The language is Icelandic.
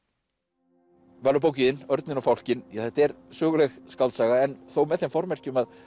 Valur bókin Örninn og fálkinn þetta er söguleg skáldsaga en þó með þeim formerkjum að